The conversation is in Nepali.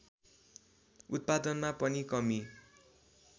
उत्पादनमा पनि कमी